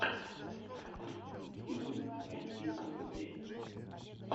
ютуб найти выступления